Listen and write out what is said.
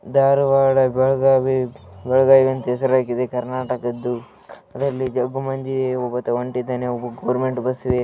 ಧಾರವಾಡ ಬೆಳಗಾವಿ ಅಂತಾ ಹೆಸರು ಹಾಕಿದೆ ಕರ್ನಾಟಕದು ಅದರಲ್ಲಿ ಜೋಗುಬಂಡಿ ಒಬ್ಬತ ಹೊಂತಿದನೆ ಗೋರ್ನ್‌ಮೆಂಟ್‌ ಬಸಿಗೆ .